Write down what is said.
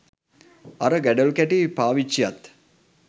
අර ගඩොල්කැටේ පාවිච්චියත්